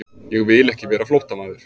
Ég vil ekki vera flóttamaður.